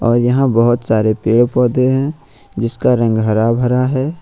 और यहां बहोत सारे पेड़ पौधे हैं जिसका रंग हरा भरा है।